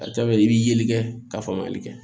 A ka ca ala fɛ i b'i yeli kɛ ka faamuyali kɛ